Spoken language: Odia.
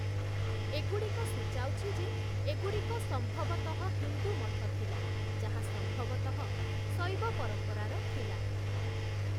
ଏଗୁଡ଼ିକ ସୂଚାଉଛି ଯେ, ଏଗୁଡ଼ିକ ସମ୍ଭବତଃ ହିନ୍ଦୁ ମଠ ଥିଲା, ଯାହା ସମ୍ଭବତଃ ଶୈବ ପରମ୍ପରାର ଥିଲା ।